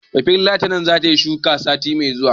Bafulatanar zata yi shuku, sati mai zuwa.